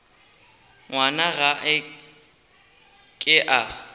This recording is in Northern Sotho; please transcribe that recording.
ngwana ga a ke a